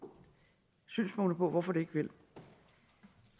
synspunkter på hvorfor det ikke vil det